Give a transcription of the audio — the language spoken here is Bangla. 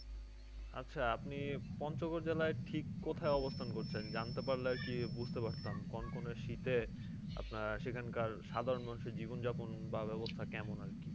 আচ্ছা আপনি পঞ্চগড় জেলায় ঠিক কোথায় অবস্থান করছেন? জানতে পারলে আরকি বুঝতে পারতাম কনকনে শীতে, আপনার সেখানকার সাধারণ মানুষের জীবন যাপন বা ব্যবস্থা কেমন আর কি?